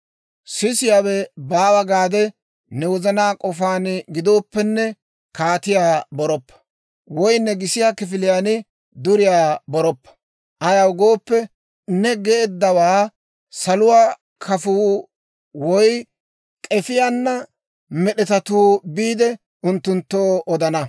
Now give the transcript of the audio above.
Sisiyaawe baawa gaade ne wozanaa k'ofaan gidooppenne, kaatiyaa boroppa; woy ne gisiyaa kifiliyaan duriyaa boroppa; ayaw gooppe, ne geeddawaa saluwaa kafuu woy, k'efiyaana med'etatuu biide, unttunttoo odana.